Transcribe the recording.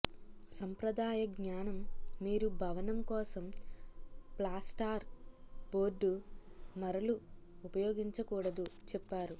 సంప్రదాయ జ్ఞానం మీరు భవనం కోసం ప్లాస్టార్ బోర్డ్ మరలు ఉపయోగించకూడదు చెప్పారు